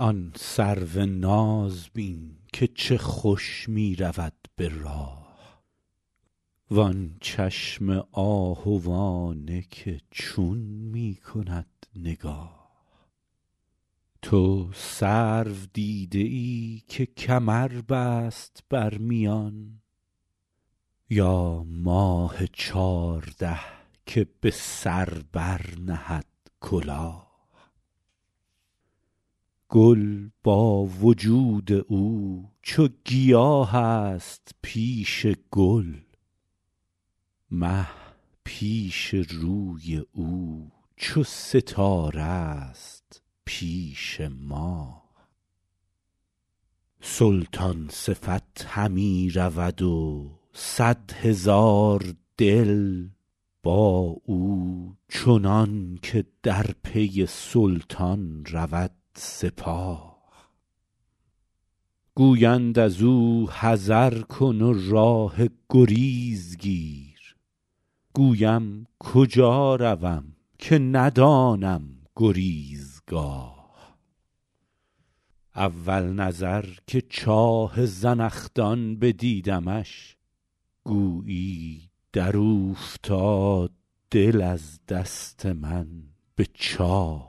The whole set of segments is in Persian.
آن سرو ناز بین که چه خوش می رود به راه وآن چشم آهوانه که چون می کند نگاه تو سرو دیده ای که کمر بست بر میان یا ماه چارده که به سر برنهد کلاه گل با وجود او چو گیاه است پیش گل مه پیش روی او چو ستاره ست پیش ماه سلطان صفت همی رود و صد هزار دل با او چنان که در پی سلطان رود سپاه گویند از او حذر کن و راه گریز گیر گویم کجا روم که ندانم گریزگاه اول نظر که چاه زنخدان بدیدمش گویی در اوفتاد دل از دست من به چاه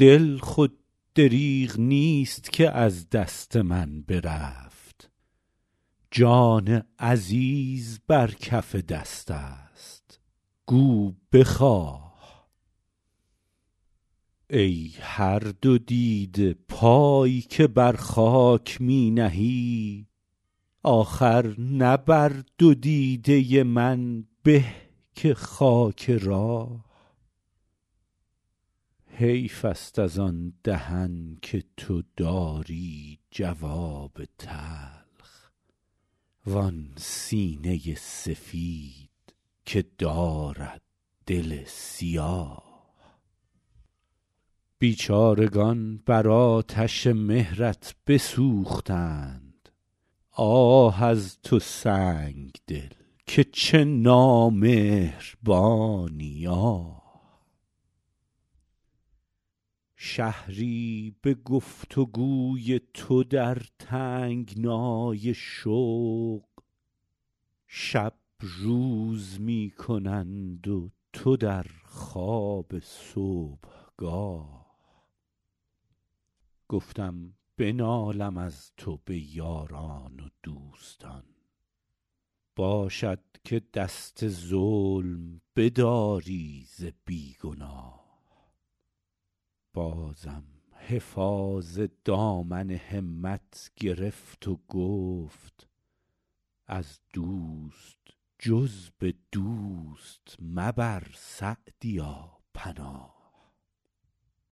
دل خود دریغ نیست که از دست من برفت جان عزیز بر کف دست است گو بخواه ای هر دو دیده پای که بر خاک می نهی آخر نه بر دو دیده من به که خاک راه حیف است از آن دهن که تو داری جواب تلخ وآن سینه سفید که دارد دل سیاه بیچارگان بر آتش مهرت بسوختند آه از تو سنگدل که چه نامهربانی آه شهری به گفت و گوی تو در تنگنای شوق شب روز می کنند و تو در خواب صبحگاه گفتم بنالم از تو به یاران و دوستان باشد که دست ظلم بداری ز بی گناه بازم حفاظ دامن همت گرفت و گفت از دوست جز به دوست مبر سعدیا پناه